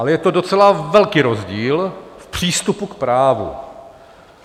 Ale je to docela velký rozdíl v přístupu k právu.